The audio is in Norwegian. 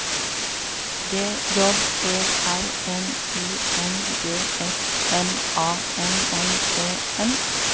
G J E R N I N G S M A N N E N